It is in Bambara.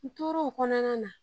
N tora o kɔnɔna na